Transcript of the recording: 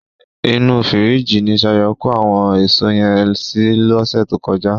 Inú fìríjìì ni Ṣayọ̀ kó àwọn èso yẹn sí lọ́sẹ̀ tó kọjá.